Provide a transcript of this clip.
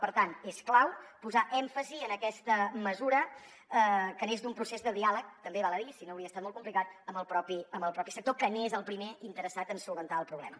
per tant és clau posar èmfasi en aquesta mesura que neix d’un procés de diàleg també val a dirho si no hauria estat molt complicat amb el propi sector que n’és el primer interessat en solucionar el problema